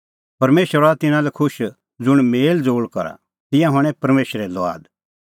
परमेशर हआ तिन्नां लै खुश ज़ुंण मेल़ज़ोल़ करा तिंयां हणैं परमेशरे लुआद